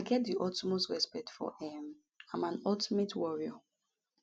i get di utmost respect for um am an ultimate warrior